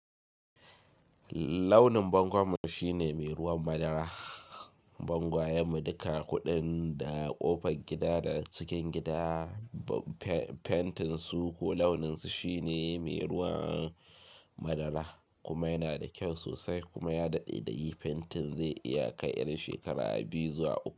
Launin bangon mu shine mai ruwan madara. Bangwayen mu duka, kuɗin da ƙofar gida da cikin gida. Fentin su ko launin su shine mai ruwan madara kuma yana da kyau sosai kuma ya daɗe da yi. Fentin zai iya kai irin shekara biyu zuwa uku.